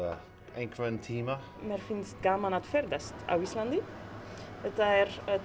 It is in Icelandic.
einhvern tímann mér finnst gaman að ferðast á Íslandi og þetta er